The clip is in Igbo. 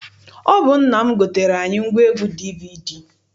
Ọ bụ nna m goteere anyị ngwaegwu DVD.